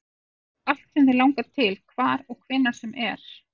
Þú segir allt sem þig langar til, hvar og hvenær sem er